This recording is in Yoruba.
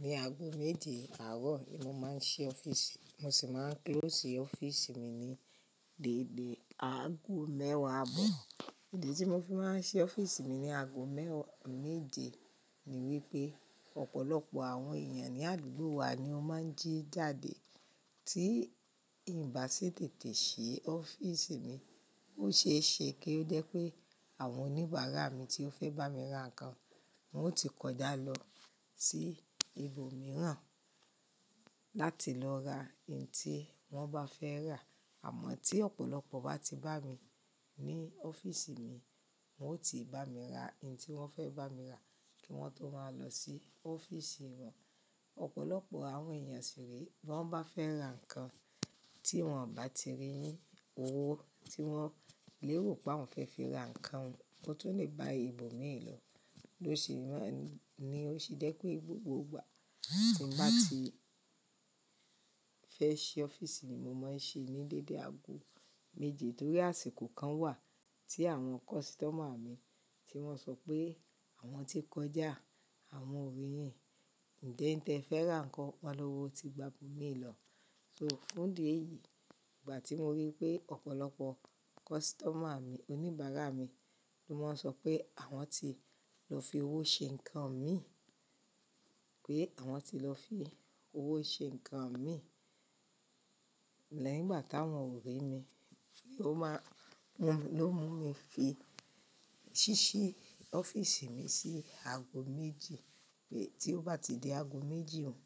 Ní aago méje àárọ̀ ni mo máa ń ṣí ọ́fíìsì, mo sì máa ń close ọ́fíìsì mi ní dédé aago mẹ́wàá àbọ̀. Ìdí tí mo fi máa ń ṣí ọ́fíìsì mi ní aago mẹ́wàá méje ni wípé ọ̀pọ̀lọpọ̀ àwọn èèyàn ní àdúgbò wa ni ó máa ń jí jáde. Tí nbá ṣe tètè ṣe ọ́fíìsì mi, ó ṣe é ṣe kí ó jé pé àwọn oníbàárà mi tí ó fẹ́ bá mi ra nǹkan, wọn ó ti kọjá lọ sí ibòmíràn láti lọ ra èyín tí wọ́n bá fẹ́ rà. Àmọ́ tí ọ̀pọ̀lọpọ̀ bá ti bá mi ní ọ́fíìsì mi, wọn ó ti bá mi ra èyín tí wọ́n fẹ́ bá mi rà kí wọn tó máa lọ sí ọ́fíìsì wọn. Ọ̀pọ̀lọpọ̀ àwọn èèyàn ṣì rí i, bí wọ́n bá fẹ́ ra nǹkan tí wọ́n ò bá ti rí yin, owó tí wọ́n lè wò pé àwọn òún fẹ́ fi ra nǹkan wọn, wọn tó lè ba ibòmíràn lọ. Ló sì máa ń ni ó sì jẹ́ pé gbogbo ìgbà tí màá ti fẹ́ ṣí ọ́fíìsì ni mo máa ń ṣí ní dédé aago méje. Torí àsìkò kan wà tí àwọn kọ́sítọ́mà mi tí wọ́n sọ pé àwọn ti kọjá, àwọn ò rí yìn. Ǹjẹ́ n tẹ fẹ́ rà nǹkan wá lọ́wọ́ ti gba ibòmíràn lọ. So fún di èyí, ìgbà tí mo rí i pé ọ̀pọ̀lọpọ̀ kọ́sítọ́mà mi, oníbàárà mi ló máa ń sọ pé àwọn ti lọ fi owó ṣe nǹkan mi, pé àwọn ti lọ fi owó ṣe nǹkan mi lẹ́yìn ìgbà táwọn ò rí mi, ló máa ń ló mú mi fi ṣíṣí ọ́fíìsì mi sí aago méje. Pé tí ó bá ti di aago méje òun,